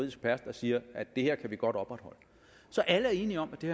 ekspert der siger at det her kan vi godt opretholde så alle er enige om at det